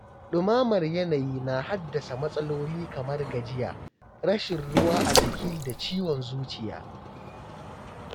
Ɗumamar yanayi na haddasa matsaloli kamar gajiya, rashin ruwa a jiki da ciwon zuciya.